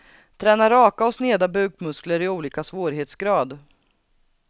Tränar raka och sneda bukmuskler i olika svårighetsgrad.